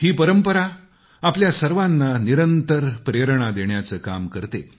ही परंपरा आपल्या सर्वांना निरंतर प्रेरणा देण्याचे काम करते